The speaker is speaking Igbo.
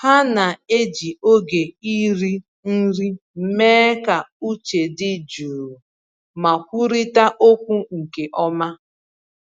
Ha na-eji oge iri nri mee ka uche dị jụụ ma kwurịta okwu nke ọma.